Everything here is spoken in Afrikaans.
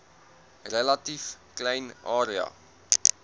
relatief klein area